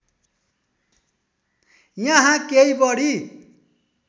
यहाँ केही बढी